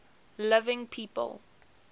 living people